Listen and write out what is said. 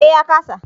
Eh ya ƙasa